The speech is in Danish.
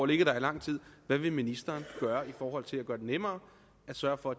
ligget der i lang tid hvad vil ministeren gøre i forhold til at gøre det nemmere at sørge for